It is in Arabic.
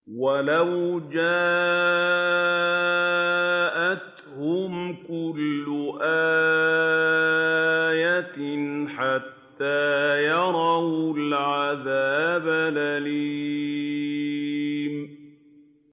وَلَوْ جَاءَتْهُمْ كُلُّ آيَةٍ حَتَّىٰ يَرَوُا الْعَذَابَ الْأَلِيمَ